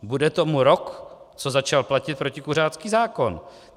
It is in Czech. Bude tomu rok, co začal platit protikuřácký zákon.